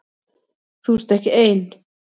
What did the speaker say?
Þú ert ekki ein.